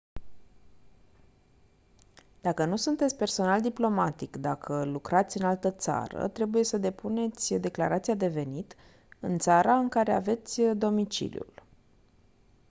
dacă nu sunteți personal diplomatic dacă lucrați în altă țară trebuie să depuneți declarația de venit în țara în care aveți domiciliul